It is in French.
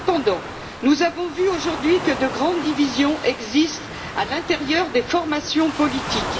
Cependant, nous avons vu aujourd'hui que de grandes divisions existent à l'intérieur des formations politiques.